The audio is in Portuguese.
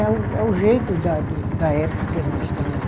É o é o jeito da do da época que nós estamos...